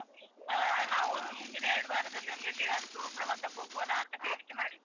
ನಾವೊಂದು ಮುಂದಿನ ಎರಡು ವಾರದಲ್ಲಿ ಒಂದು ಎಲ್ಲಿಯಾದ್ರೂ ಪ್ರವಾಸಕ್ಕೆ ಹೋಗ್ವಾನ ಅಂತ ಕೇಳಿಕ್ಕೆ ಮಾಡಿದ್ದು.